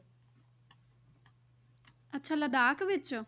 ਅੱਛਾ ਲਦਾਖ ਵਿੱਚ?